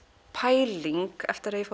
pæling eftir að ég